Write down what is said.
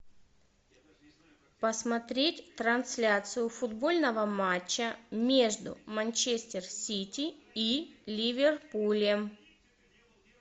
посмотреть трансляцию футбольного матча между манчестер сити и ливерпулем